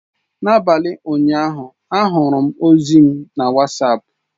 N'abalị ụnyaahụ, ahụrụ m ozi m na Wasapụ.